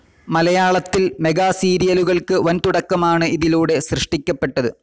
മലയാളത്തിൽ മെഗാസീരിയലുകൾക്ക് വൻതുടക്കമാണ് ഇതിലൂടെ സൃഷ്ടിക്കപ്പെട്ടത്.